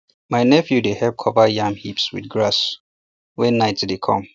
my nephew dey help um cover yam heap with grass wen night dey come